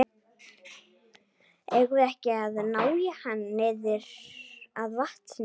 Eigum við ekki að ná í hann niður að vatni?